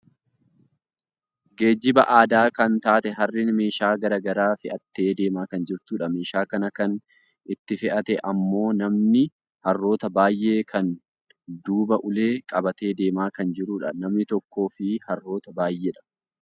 geejjiba aadaa kan taate harreen meeshaa gara garaa fe'attee deemaa kan jirtudha. meeshaa kana kan itti fe'ate ammoo namni harroota baayyee kan duuba ulee qabatee deemaa kan jirudha. Nama tokkoofi harroota baayyeedha.